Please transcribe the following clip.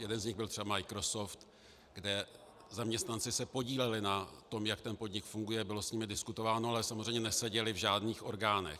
Jeden z nich byl třeba Microsoft, kde zaměstnanci se podíleli na tom, jak ten podnik funguje, bylo s nimi diskutováno, ale samozřejmě neseděli v žádných orgánech.